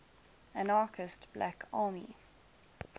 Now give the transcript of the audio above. anarchist black army